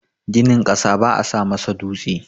Ginin ƙasa baa sa masa dutse.